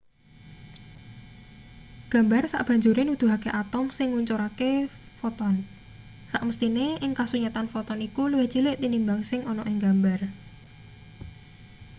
gambar sabanjure nuduhake atom sing ngucurake foton samesthine ing kasunyatan foton iku luwih cilik tinimbang sing ana ing gambar